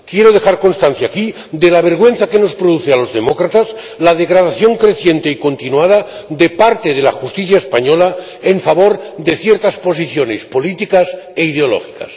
Quiero dejar constancia aquí de la vergüenza que nos produce a los demócratas la degradación creciente y continuada de parte de la justicia española en favor de ciertas posiciones políticas e ideológicas.